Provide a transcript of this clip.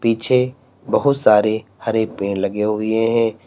पीछे बहुत सारे हरे पेड़ लगे हुए है।